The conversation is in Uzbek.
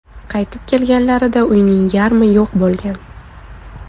Qaytib kelganlarida uyning yarmi yo‘q bo‘lgan.